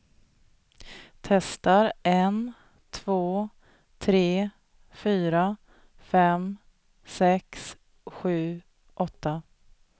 Testar en två tre fyra fem sex sju åtta.